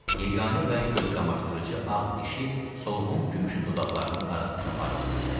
Yeganə və gözqamaşdırıcı ağ dişi solğun gümüşü dodaqlarının arasında parıldayırdı.